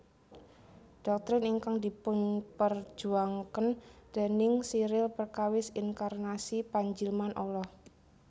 Dhoktrin ingkang dipunperjuwangaken déning Cyril perkawis inkarnasi panjilman Allah